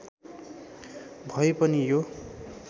भए पनि यो